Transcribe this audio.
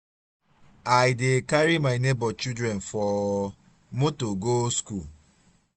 i dey carry my nebor children for motor go skool.